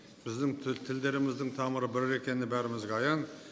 біздің тілдеріміздің тамыры бір екеніне бәрімізге аян